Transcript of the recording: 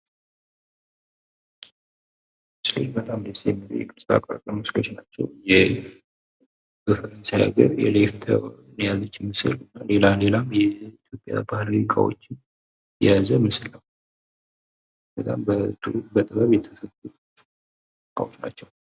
እነዚህ በጣም ደስ የሚሉ የቅርጻቅርጽ ምስሎች ናቸው። ሌላም ሌላም የኢትዮጵያ ባህል እቃዎችን እንዲሁም የተለያዩ እቃዎችን የያዘ ምስል ነው። በጣም በጥበብ የተቀመጡ እቃዎች ናቸው